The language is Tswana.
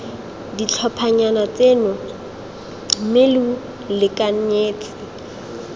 ditlhophanyana tseno mme lo lekanyetse